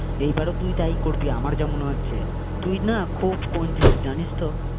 এই বারেও তুই তাই করবি আমার যা মনে হচ্ছে তুই না খুব কঞ্জুষ জানিসতো?